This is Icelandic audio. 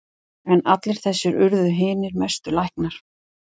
En allir þessir urðu hinir mestu læknar.